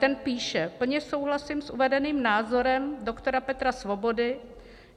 Ten píše: "Plně souhlasím s uvedeným názorem doktora Petra Svobody.